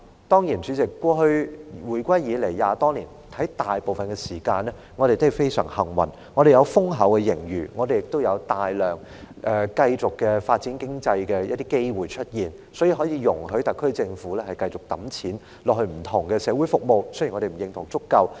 當然，代理主席，回歸20多年以來，香港大部分時間都非常幸運，有豐厚的盈餘，亦有大量繼續發展經濟的機會，所以，特區政府可以繼續撥款到不同的社會服務項目。